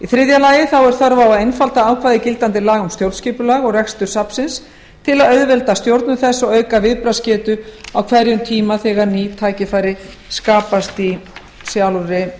þriðja þörf er á að einfalda ákvæði gildandi laga um stjórnskipulag og rekstur safnsins til að auðvelda stjórnun þess og auka viðbragðsgetu á hverjum tíma þegar ný tækifæri skapast í sjálfri